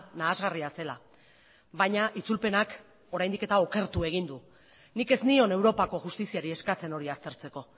nahasgarria zela baina itzulpenak oraindik eta okertu egin du nik ez nion europako justiziari eskatzen hori aztertzeko